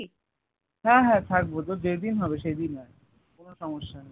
হ্যাঁ হ্যাঁ থাকবো তোর যে দিন হবে সেই দিন আয় কোনো সমস্যা নেই